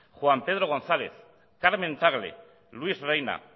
juan pedro gonzález carmen tagle luis reina